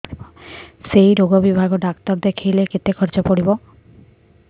ସେଇ ରୋଗ ବିଭାଗ ଡ଼ାକ୍ତର ଦେଖେଇଲେ କେତେ ଖର୍ଚ୍ଚ ପଡିବ